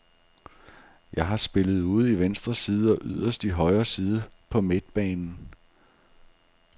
Jeg har spillet ude i venstre side og yderst i højre side på midtbanen.